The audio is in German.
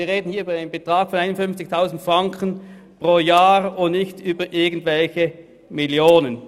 Wir sprechen hier also nur über diesen Betrag pro Jahr und nicht über irgendwelche Millionen.